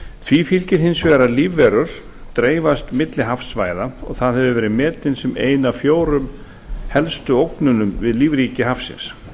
því fylgir hins vegar að lífverur dreifast milli hafsvæða og það hefur verið metin sem ein af fjórum helstu ógnunum við lífríki hafsins